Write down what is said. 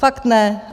Fakt ne.